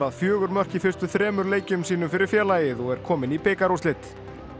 fjögur mörk í fyrstu þremur leikjum sínum fyrir félagið og er kominn í bikarúrslit